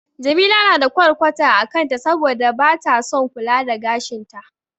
Jamila na da ƙwarƙwata a kanta saboda bata son kula da gashin ta.